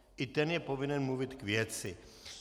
I ten je povinen mluvit k věci.